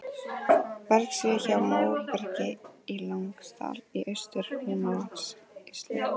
Bergskriða hjá Móbergi í Langadal í Austur-Húnavatnssýslu.